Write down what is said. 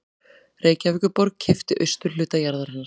Reykjavíkurborg keypti austurhluta jarðarinnar